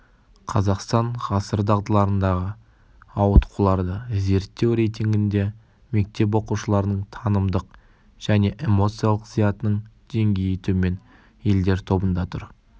қазақстан ғасыр дағдыларындағы ауытқуларды зерттеу рейтингінде мектеп оқушыларының танымдық және эмоциялық зиятының деңгейі төмен елдер тобында тұр